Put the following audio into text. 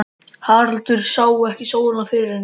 Haraldur sá ekki sólina fyrir henni.